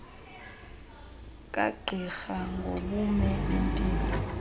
kagqirha ngobume bempilo